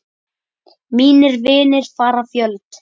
Mínir vinir fara fjöld.